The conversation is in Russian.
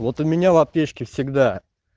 вот у меня в аптечке всегда